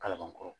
Kalabankɔrɔ